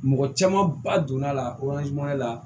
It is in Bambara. Mɔgɔ caman ba donna la la